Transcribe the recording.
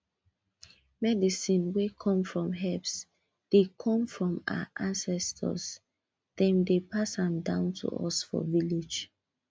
medicine wey come from herbs dey come from our ancestors dem dey pass am down to us for village